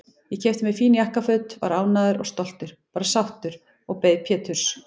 Ég keypti mér fín jakkaföt, var ánægður og stoltur, bara sáttur, og beið Péturs.